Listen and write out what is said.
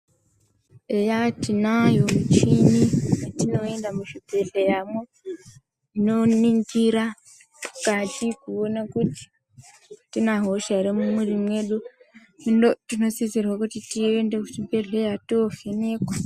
Eya tinayo michini mwatinoenda muzvibhadhleyamwo inoningira mukati kuone kuti atina hosha ere mumwiri mwedu tinosisirwe kuti tiende muzvibhedhleya toovhenekwa.